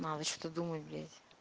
надо что то думать блять